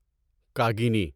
کاگنیی